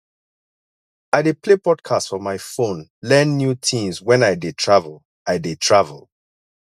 i dey play podcasts for my phone learn new tins wen i dey travel i dey travel